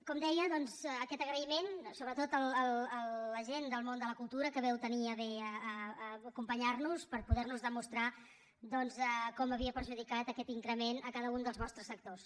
com deia doncs aquest agraïment sobretot a la gent del món de la cultura que vau tenir a bé acompanyar nos per poder nos demostrar com havia perjudicat aquest increment a cada un dels vostres sectors